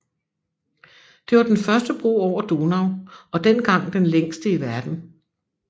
Det var den første bro over Donau og dengang den længste i verden